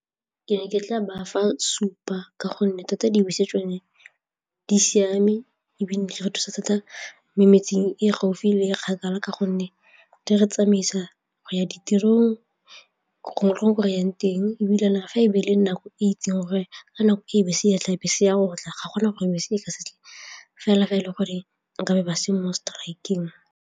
Ke ne ke tla bafa supa ka gonne thata dibese tsone di siame ebile di re thusa thata mo metseng e gaufi le kgakala ka gonne di re tsamaisa go ya tirong yang teng ebile fa e be e le nako e itseng gore ka nako e bese e tlabe se ya gotla ga gona gore ka sentle fela fa e le gore nkabe ba se mo strike-eng.